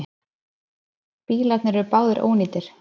Bílarnir eru báðir ónýtir